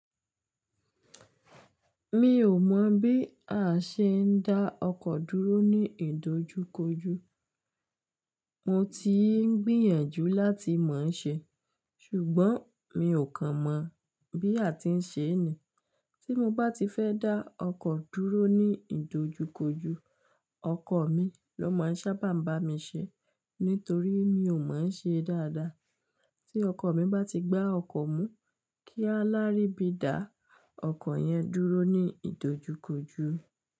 Mi ò mọ̀ bí a ṣe ń dá ọkọ dúró ní ìdojúkoju, mo ti ń gbìyànjú láti mọ̀ ṣé, ṣùgbọ́n mi ò kan mọ̀ bí a ti ń ṣe ní. Tí mo bá ti fẹ́ dá ọkọ dúró ní ìdojúkoju, ọkọ mi ló máa ń sábà bá mi ṣe, nítorí mi ò mọ̀ ọ́n ṣe dáadáa. Tí ọkọ mi bá ti gbá ọkọ̀ mú, kí a lárí bí dá ọkọ̀ yẹn dúró ní ìdojúkoju.